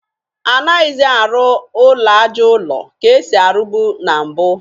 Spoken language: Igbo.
Anaghịzị arụ ụlọ aja ụlọ ka e si arụbu na mbụ